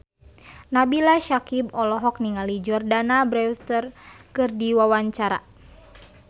Nabila Syakieb olohok ningali Jordana Brewster keur diwawancara